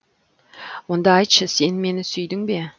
онда айтшы сен мені сүйдің бе